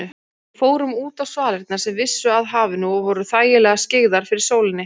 Við fórum útá svalirnar sem vissu að hafinu og voru þægilega skyggðar fyrir sólinni.